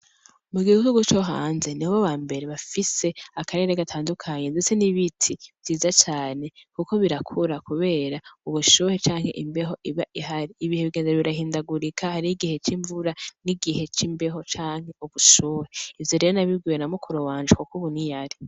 Mugihugu co hanze nibo bambere bafise akarere gutandukanye ndetse n'ibiti vyiza cane kuko birakura kubera ubushuhe canke imbeho iba ihari ibihe bigenda birahindagurika hari igihe c'imbeho canke ubushuhe ivyo nabibwiwe na mukuru wanje ubu niyari.